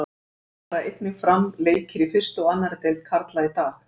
Þá fara einnig fram leikir í fyrstu og annarri deild karla í dag.